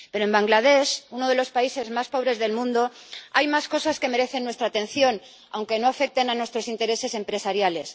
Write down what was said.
Pero en Bangladés, uno de los países más pobres del mundo, hay más cosas que merecen nuestra atención, aunque no afecten a nuestros intereses empresariales.